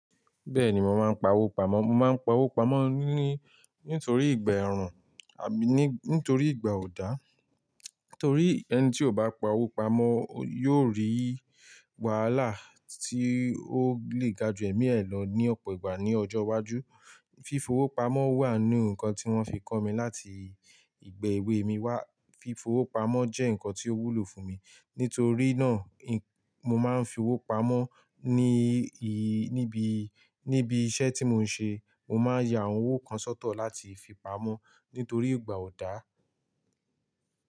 Bẹ́ẹ̀ni, mo máa ń pa owó pamọ́. Mo máa ń pa owó pamọ́ ní-nítorí ìgbà ẹ̀rùn àbí ní-nítorí ìgbà ò dá. Nítorí ẹni tí ò bá pa owó pamọ́ yóò rí wàhálà tí ó lè ga jù ẹ̀mí ẹ̀ lọ ní ọ̀pọ̀ ìgbà ní ọjọ́ iwájú. Fífo owó pamọ́ wà nínú nǹkan tí wọ́n fi kọ́ mi láti ìgbà èwe mi wá. Fífo owó pamọ́ jẹ́ nǹkan tí ó wúlò fún mi. Nítorí náà, mo máa ń fi owó pamọ́ ní ì-níbí-níbí iṣẹ́ tí mo ń ṣe. Mo máa ń ya àwọn owó kan sọ́tọ̀ láti fi pamọ́ nítorí ìgbà ò dá.